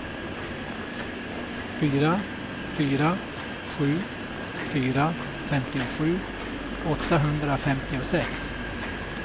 fyra fyra sju fyra femtiosju åttahundrafemtiosex